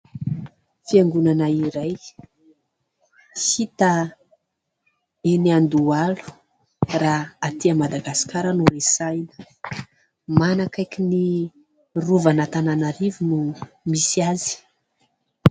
Fiangonana iray hita eny Andohalo raha atỳ Madagasikara no resahana. Manankaiky ny rovan' Antananarivo no misy azy.